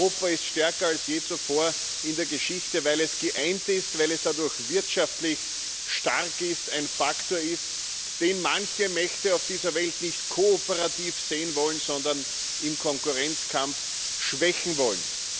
Europa ist stärker als je zuvor in der Geschichte, weil es geeint ist, weil es dadurch wirtschaftlich stark ist, ein Faktor ist, den manche Mächte auf dieser Welt nicht kooperativ sehen wollen, sondern im Konkurrenzkampf schwächen wollen.